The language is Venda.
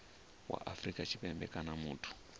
wa afrika tshipembe kana muthu